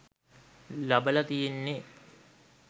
ලබල තියෙන්නේ.